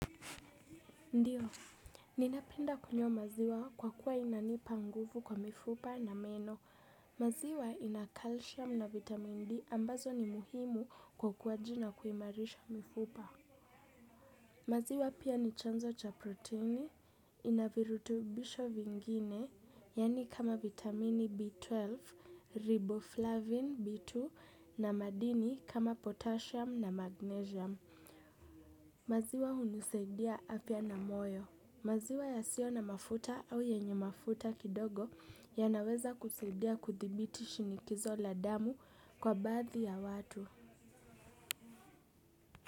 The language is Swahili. Ndiyo, ninapenda kunywa maziwa kwa kuwa inanipa nguvu kwa mifupa na meno. Maziwa ina calcium na vitamin D ambazo ni muhimu kwa ukuwaji na kuimarisha mifupa. Maziwa pia ni chanzo cha proteini, ina virutubisho vingine, yani kama vitamini B12, riboflavin B2 na madini kama potassium na magnesium. Maziwa hunisaidia afya na moyo. Maziwa yasionamafuta au yenye mafuta kidogo yanaweza kusidia kuthibiti shinikizo la damu kwa baathi ya watu.